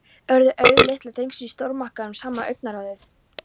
Urðu augu litla drengsins í stórmarkaðnum, sama augnaráðið.